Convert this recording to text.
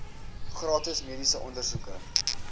gratis mediese ondersoeke